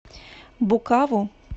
букаву